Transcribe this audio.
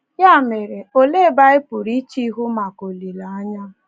Ya mere, olee ebe anyị pụrụ iche ihu maka olileanya?